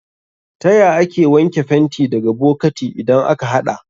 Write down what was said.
Taya ake wanke fenti daga bokati idan aka haɗa?